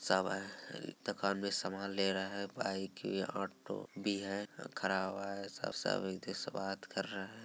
सब आये हैं दुकान मैं समान ले रहा है। बाइक बी है ऑटो भी हैं । खरा हुआ है सब सब एक दुसे से बात कर रहा है।